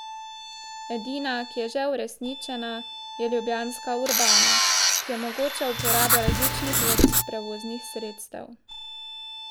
Edina, ki je že uresničena, je ljubljanska Urbana, ki omogoča uporabo različnih vrst prevoznih sredstev.